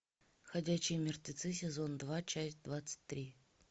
ходячие мертвецы сезон два часть двадцать три